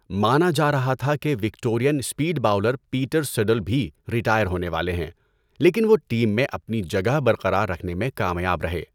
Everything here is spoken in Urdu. مانا جا رہا تھا کہ Victorian speed bowler Peter Siddle بھی ریٹائر ہونے والے ہیں لیکن وہ ٹیم میں اپنی جگہ برقرار رکھنے میں کامیاب رہے۔